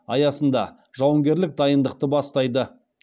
аясында жауынгерлік дайындықты бастайды